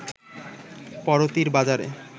পড়তির বাজারে